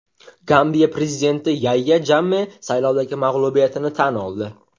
Gambiya prezidenti Yayya Jamme saylovdagi mag‘lubiyatini tan oldi.